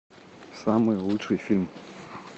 самый лучший фильм